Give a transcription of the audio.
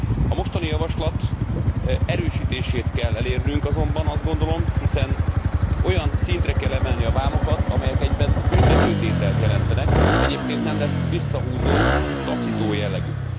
A mostani javaslat erősítését kell elérnünk, azt gondolom, hiszen olyan szintre kell emelnünk a vámokat, amelyek egyben büntetőtételt jelentenek, egyébként nem lesz visszahúzó, taszító jellegük.